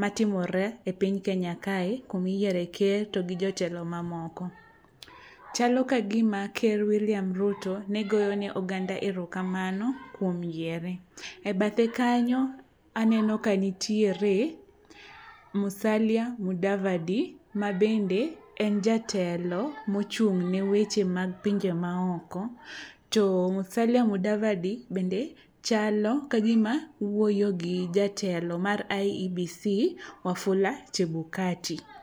matimore e piny kenya kae kumiyiere ker to gi jotelo mamoko. Chalo kagima ker William Ruto ne goyo ne oganda erokamano kuom yiere. E bathe kanyo aneno kanitiere Musalia Mudavadi mabende en jatelo mochung'ne weche mag pinje maoko to Musalia Mudavadi bende chalo kagima wuoyo gi jatelo mar iebc Wafula Chebukati.